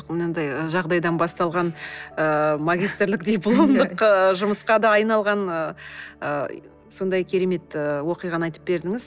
мынандай ы жағдайдан басталған ыыы магистрлік дипломдық ыыы жұмысқа да айналған ыыы сондай керемет ы оқиғаны айтып бердіңіз